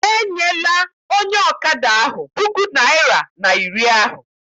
Enyela onye ọkada ahụ puku naịra na iri ahụ!